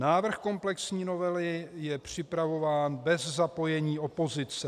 Návrh komplexní novely je připravován bez zapojení opozice.